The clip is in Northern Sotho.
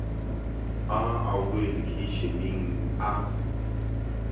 a a boe lekheišeneng a